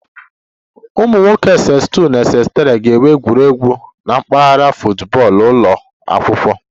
Ụmụ nwoke Ss2 na Ss3 ga-enwe egwuregwu na mpaghara football ụlọ akwụkwọ